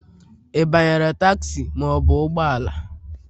Ị banyere tagzi ma ọ bụ ụgbọ ala?